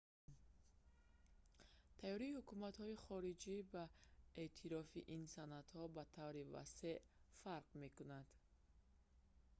тайёрии ҳукуматҳои хориҷӣ ба эътирофи ин санадҳо ба таври васеъ фарқ мекунад